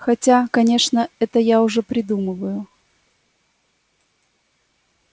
хотя конечно это я уже придумываю